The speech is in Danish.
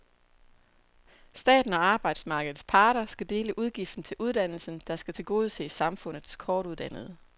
Staten og arbejdsmarkedets parter skal dele udgiften til uddannelsen, der skal tilgodese samfundets kortuddannede.